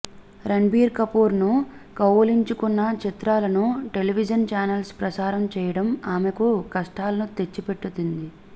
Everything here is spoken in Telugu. రణబీర్ కపూర్ ను కౌగిలించుకున్న చిత్రాలను టెలివిజన్ చానెల్స్ ప్రసారం చేయడం ఆమెకు కష్టాలను తెచ్చిపెట్టింది